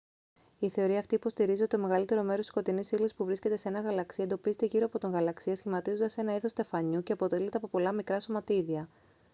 η θεωρία αυτή υποστηρίζει ότι το μεγαλύτερο μέρος της σκοτεινής ύλης που βρίσκεται σε έναν γαλαξία εντοπίζεται γύρω από τον γαλαξία σχηματίζοντας ένα είδος στεφανιού και αποτελείται από πολλά μικρά σωματίδια